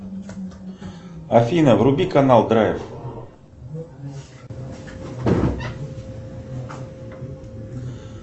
афина вруби канал драйв